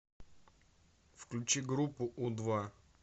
включи группу у два